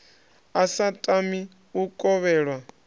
a sa tami u kovhelwa